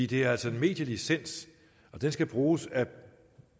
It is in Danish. det er altså en medielicens og den skal bruges af